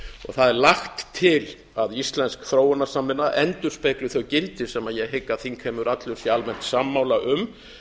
það er lagt til að íslensk þróunarsamvinna endurspegli þau gildi sem ég hygg að þingheimur allur sé almennt sammála um